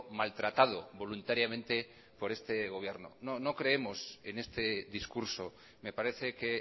maltratado voluntariamente por este gobierno no no creemos en este discurso me parece que